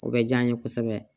O bɛ diya n ye kosɛbɛ